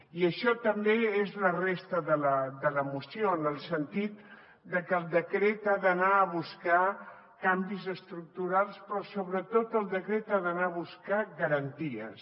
i això també és la resta de la moció en el sentit de que el decret ha d’anar a buscar canvis estructurals però sobretot el decret ha d’anar a buscar garanties